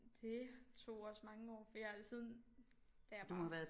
Det tog også mange år for jeg har siden da jeg var